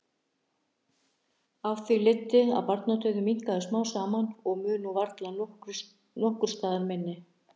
Af því leiddi að barnadauðinn minnkaði smám saman og mun nú varla nokkurs staðar minni.